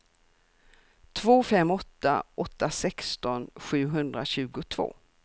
två fem åtta åtta sexton sjuhundratjugotvå